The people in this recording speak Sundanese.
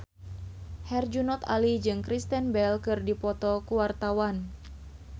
Herjunot Ali jeung Kristen Bell keur dipoto ku wartawan